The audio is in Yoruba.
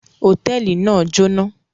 Hòtẹ́ẹ́lì náà jóná.